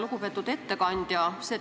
Lugupeetud ettekandja!